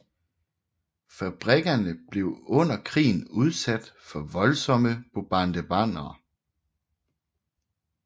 Fabrikkerne blev under krigen udsat for voldsomme bombardementer